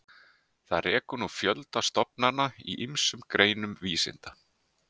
Það rekur nú fjölda stofnana í ýmsum greinum vísinda.